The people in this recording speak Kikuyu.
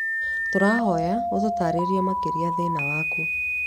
Tũrahoya ũtũtarĩrie makĩria thĩna waku.